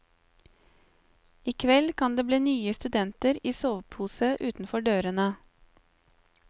I kveld kan det bli nye studenter i sovepose utenfor dørene.